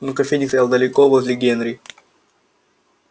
но кофейник стоял далеко возле генри